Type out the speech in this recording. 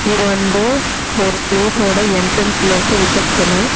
இது வந்து ஒரு பிலேஸ் ஓட என்றென்ஸ்ல இருக்குற ரிசப்சன்னு .